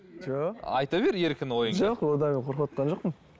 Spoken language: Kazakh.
жоқ айта бер еркін ойыңды жоқ одан мен қорқыватқан жоқпын